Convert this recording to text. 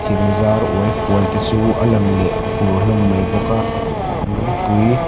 thingzar uai fual te chu a lang leh fur hlawm mai bawk a lungpui--